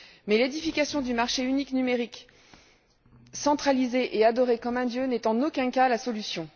Mais l'édification du marché unique numérique centralisé et adoré comme un dieu n'est en aucun cas la solution.